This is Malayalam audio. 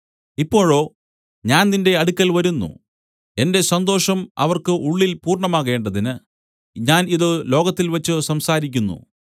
ഇപ്പോഴോ ഞാൻ നിന്റെ അടുക്കൽ വരുന്നു എന്റെ സന്തോഷം അവർക്ക് ഉള്ളിൽ പൂർണ്ണമാകേണ്ടതിന് ഞാൻ ഇതു ലോകത്തിൽവെച്ചു സംസാരിക്കുന്നു